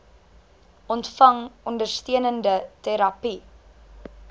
ontvang ondersteunende terapie